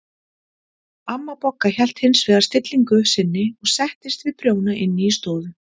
Amma Bogga hélt hins vegar stillingu sinni og settist við prjóna inn í stofu.